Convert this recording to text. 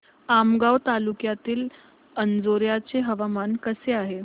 आमगाव तालुक्यातील अंजोर्याचे हवामान कसे आहे